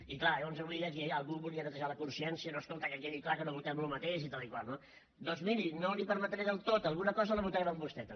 i clar llavors avui aquí algú es volia netejar la consciència no escolta que quedi clar que no votem el mateix i tal i tal no doncs miri no li ho permetré del tot alguna cosa la votarem amb vostè també